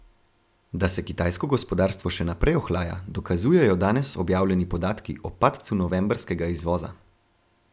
Da se kitajsko gospodarstvo še naprej ohlaja, dokazujejo danes objavljeni podatki o padcu novembrskega izvoza.